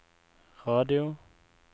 radio